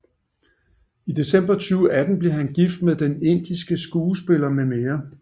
I december 2018 blev han gift med den indiske skuespiller mm